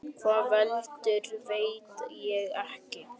Hvað veldur, veit ég ekki.